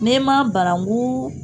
N'e ma banankun